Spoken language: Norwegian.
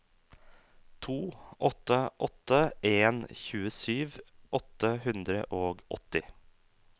to åtte åtte en tjuesju åtte hundre og åtti